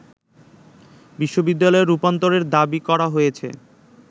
বিশ্ববিদ্যালয়ে রূপান্তরের দাবি করা হয়েছে